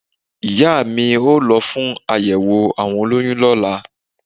Ìyá a mi o lo fún àyèwò àwọn olóyun lọ́lá